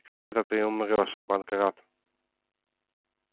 и когда это ты умрёшь панкрат